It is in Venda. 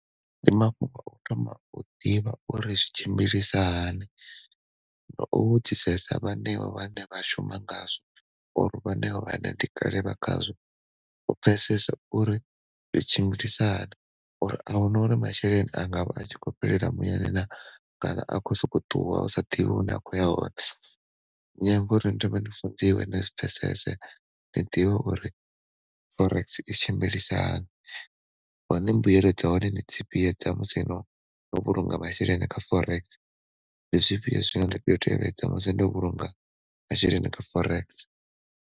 Ndi mafhungo a u thoma u ḓivha uri zwi tshimbilisa hani, nga u vhudzisesa vhanevha vhane vha shuma ngazwo vhanevha vhane ndi kale vha khazwo, u pfesesa uri zwi tshimbilisa hani uri ahuna uri masheleni anga vha a tshi kho fhelela muyani na kana a kho soko ṱuwa u sa ḓivhi hune a kho ya hone. no fundziwe ni zwi pfesese ni ḓivhe uri forex i tshimbilisa hani hone mbuyelo dza hone ndi dzifhio dza musi no no vhulunga masheleni kha forex, ndi zwifhio zwine nda tea u tevhedza musi ndo vhulunga masheleni kha forex.